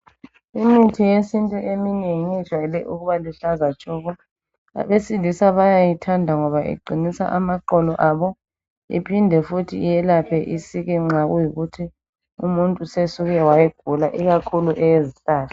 Imithi yesintu eminengi ijayele uukuba luhlaza tshoko. Abesilisa bayayithanda ngoba iqinisa amaqolo abo iphinde futhi iyelaphe isiki nxa kuyikuthi umuntu usesuke wayigula ikakhulu eyezihlahla.